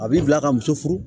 A b'i bila ka muso furu